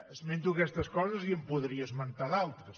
esmento aquestes coses i en podria esmentar d’altres